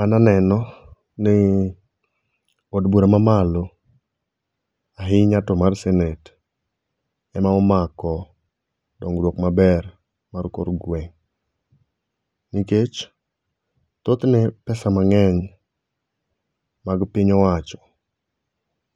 An aneno ni od bura ma malo ahinya to mar senet ema omako dongruok maber mar kor gweng nikech, thoth ne pesa mangeny mag piny owacho